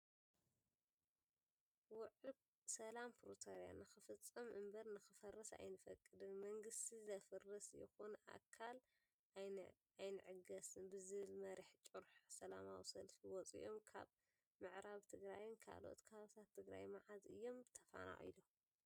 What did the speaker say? ውዕል ሰላም ፕሮተርያ ንክፍፀም እምበር ንክፈርስ ኣይንፈቅድን ።መንግስቲ ዘፈርስ ይኩን ኣካል ኣይንዕገስ ብዝብል መሪሕ ጭርሖ ዘለማዊ ሰልፊ ወፂኦም ።ካብ ምዕራብ ትግራይን ካልኦት ካባቢታት ትግራይ መዓዝ እዮም ተፈናቂሎም ?